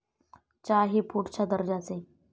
च्या ही पुढच्या दर्जाचे.